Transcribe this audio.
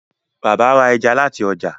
Bàbá ra ẹja láti ojà.